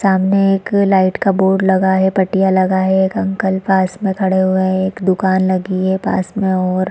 सामने एक लाइट का बोर्ड लगा हुआ है पटियां लगा है एक अंकल पास में खड़े हुए हैं एक दुकान लगी है पास में और --